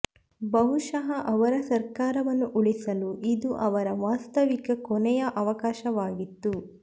ಬಹುಶಃ ಅವರ ಸರಕಾರವನ್ನು ಉಳಿಸಲು ಇದು ಅವರ ವಾಸ್ತವಿಕ ಕೊನೆಯ ಅವಕಾಶವಾಗಿತ್ತು